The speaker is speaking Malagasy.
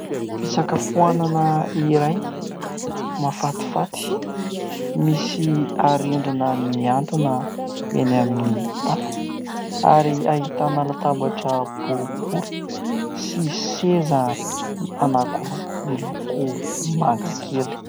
Fisakafoanana iray mahafatifaty, misy arendrina mihantona eny amin'ny tafo, ary ahitana latabatra boribory sy seza anankiroa miloko manga kely.